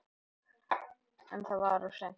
En það var of seint.